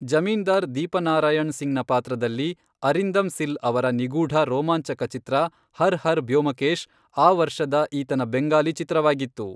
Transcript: ಜಮೀನ್ದಾರ್ ದೀಪನಾರಾಯಣ್ ಸಿಂಗ್ನ ಪಾತ್ರದಲ್ಲಿ ಅರಿಂದಮ್ ಸಿಲ್ ಅವರ ನಿಗೂಢ ರೋಮಾಂಚಕ ಚಿತ್ರ ಹರ್ ಹರ್ ಬ್ಯೋಮಕೇಶ್ ಆ ವರ್ಷದ ಈತನ ಬೆಂಗಾಲಿ ಚಿತ್ರವಾಗಿತ್ತು.